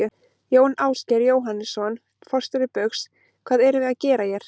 Jón Ásgeir Jóhannesson, forstjóri Baugs: Hvað erum við að gera hér?